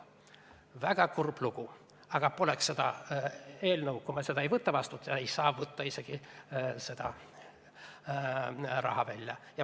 Väga kurb lugu, aga poleks seda eelnõu – juhul, kui me seda vastu ei võta –, ei saaks ta üldse raha välja võtta.